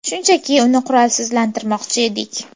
Shunchaki, uni qurolsizlantirmoqchi edik.